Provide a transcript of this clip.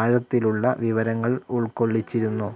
ആഴത്തിലുള്ള വിവരങ്ങൾ ഉൾക്കൊള്ളിച്ചിരുന്നു.